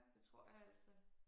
Det tror jeg altså